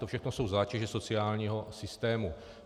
To všechno jsou zátěže sociálního systému.